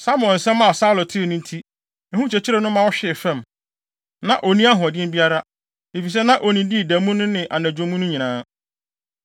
Samuel nsɛm a Saulo tee no nti, ehu kyekyeree no ma ɔhwee fam. Na onni ahoɔden biara, efisɛ na onnidii da mu no ne anadwo mu no nyinaa.